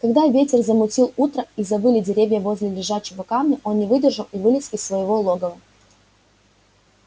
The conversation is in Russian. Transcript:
когда ветер замутил утро и завыли деревья возле лежачего камня он не выдержал и вылез из своего логова